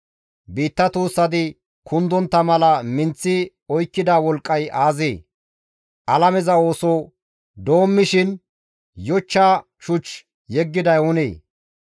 Biitta tuussati kundontta mala minththi oykkida wolqqay aazee? Alameza ooso doommishin yochcha shuch yeggiday oonee?